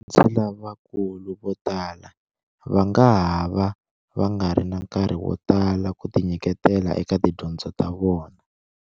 Vadyondzi lavakulu vo tala va nga ha va va nga ri na nkarhi wo tala ku tinyiketela eka tidyondzo ta vona.